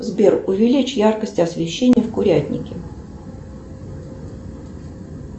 сбер увеличь яркость освещения в курятнике